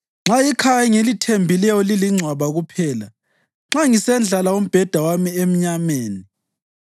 Nxa ikhaya engilithembileyo lilingcwaba kuphela, nxa ngisendlala umbheda wami emnyameni,